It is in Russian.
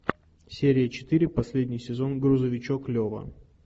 серия четыре последний сезон грузовичок лева